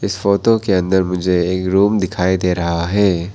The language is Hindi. इस फोटो के अंदर मुझे एक रूम दिखाई दे रहा है।